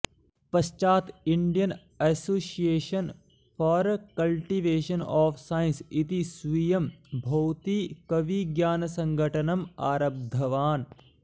पश्चात् Indian association for cultivation of science इति स्वीयं भौतिकविज्ञानसङ्घटनम् आरब्धवान्